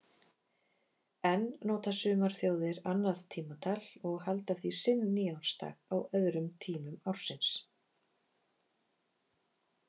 Enn nota sumar þjóðir annað tímatal og halda því sinn nýársdag á öðrum tímum ársins.